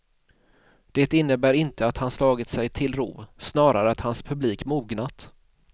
Det innebär inte att han slagit sig till ro, snarare att hans publik mognat.